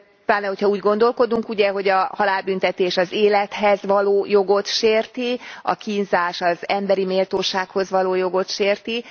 Pláne, hogyha úgy gondolkodunk ugye, hogy a halálbüntetés az élethez való jogot sérti, a kínzás az emberi méltósághoz való jogot sérti.